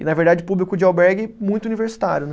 E na verdade o público de albergue muito universitário, né?